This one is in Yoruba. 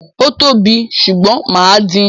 Ó tóbi, ṣùgbọ́n mà á din.